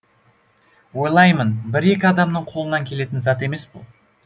ойлаймын бір екі адамның қолынан келетін зат емес бұл